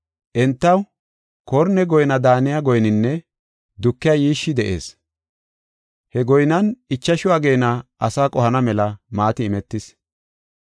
Entaw korne goyna daaniya goyninne dukiya yiishshi de7ees. He goynan ichashu ageena asaa qohana mela maati imetis.